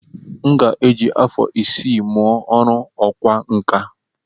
M ga-eji afọ isii mụọ ọrụ ọkwá nkà.